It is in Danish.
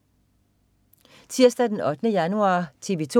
Tirsdag den 8. januar - TV 2: